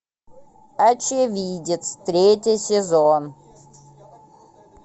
очевидец третий сезон